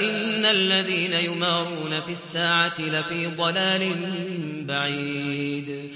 إِنَّ الَّذِينَ يُمَارُونَ فِي السَّاعَةِ لَفِي ضَلَالٍ بَعِيدٍ